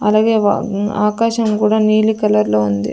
అలాగే వ ఆకాశం కూడా నీలి కలర్ లో ఉంది.